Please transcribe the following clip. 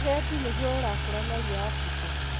Ũgendi nĩguo ũrakũra narua Africa